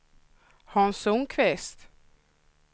Hans Sundqvist